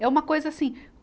É uma coisa assim.